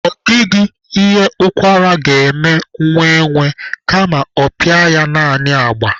Ọ dịghị ihe ụkwara ga-eme nwa enwe, kama ọ pịa ya naanị agba.